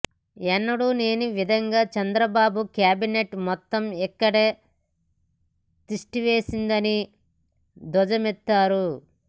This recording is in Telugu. ఎన్నడూలేని విధంగా చంద్రబాబు క్యాబినేట్ మొత్తం ఇక్కడే తిష్టవేసిందని ధ్వజమెత్తారు